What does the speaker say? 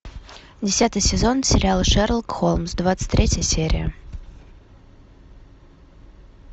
десятый сезон сериала шерлок холмс двадцать третья серия